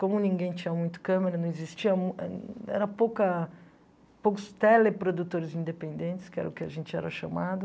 Como ninguém tinha muito câmera, não existia um... Era pouca... Poucos teleprodutores independentes, que era o que a gente era chamado.